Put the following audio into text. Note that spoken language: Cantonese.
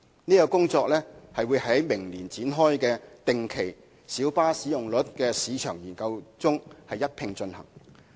這項工作會在明年展開的定期小巴使用率市場研究中一併進行。